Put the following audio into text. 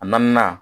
A naaninan